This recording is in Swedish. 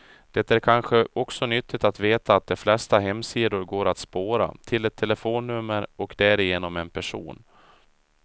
Det är kanske också nyttigt att veta att de flesta hemsidor går att spåra, till ett telefonnummer och därigenom en person.